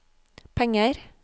penger